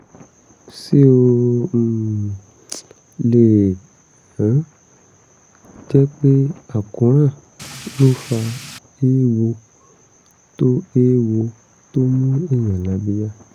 ṣé ó um lè um jẹ́ pé àkóràn ló fa eéwo tó eéwo tó mú èèyàn lábíyá?